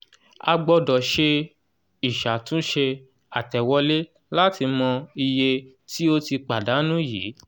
a gbọ́dọ̀ ṣe ìṣàtúnṣe àtẹ̀wolé láti mọ iye tí ó ti pàdánù yíì